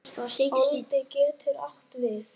Oddi getur átt við